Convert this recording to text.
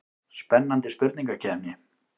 Spennandi spurningakeppni.